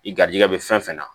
I garijɛgɛ bɛ fɛn fɛn na